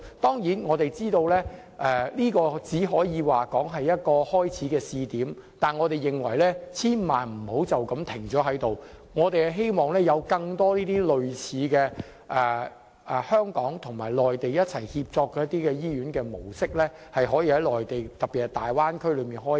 當然，我們知道這只是一個試點，但我們認為千萬不要就這樣停下來，我們希望有更多類似的香港與內地協作模式營運的醫院，可以在內地特別是大灣區開展。